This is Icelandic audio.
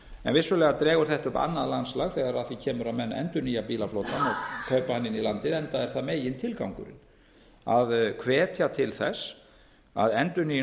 en vissulega dregur þetta upp annað landslag þegar að því kemur að menn endurnýja bílaflotann og kaupa hann inn í landið enda er það megintilgangurinn að hvetja til þess að endurnýjun